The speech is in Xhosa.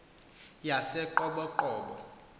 yaseqoboqobo